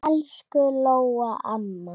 Elsku Lóa amma.